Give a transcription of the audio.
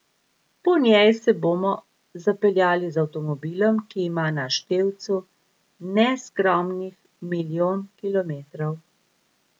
Po njej se bomo zapeljali z avtomobilom, ki ima na števcu neskromnih milijon kilometrov.